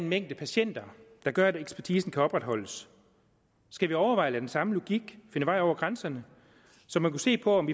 mængde patienter der gør at ekspertisen kan opretholdes skal vi overveje at lade den samme logik finde vej over grænserne så vi kunne se på om